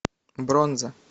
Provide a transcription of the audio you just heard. бронза